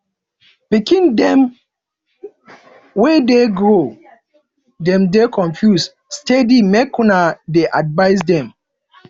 pikin dem wey dey grow dem dey confuse steady make una dey advice dem